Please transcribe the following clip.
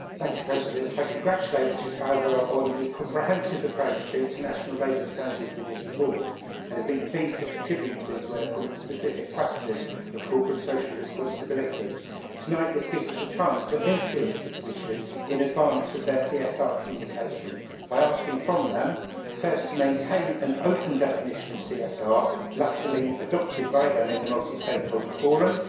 Mr President, I congratulate Richard Falbr on the comprehensive approach to international labour standards in his report. I have been pleased to contribute to his work on the specific question of corporate social responsibility. Tonight, this gives us a chance to influence the Commission in advance of its CSR communication by asking it firstly to maintain the open definition of CSR latterly adopted by it in the Multi Stakeholder Forum